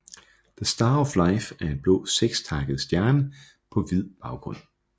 The Star of Life er en blå sekstakket stjerne på hvid baggrund